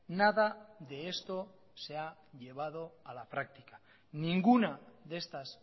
nada de esto se ha llevado a la práctica ninguna de estas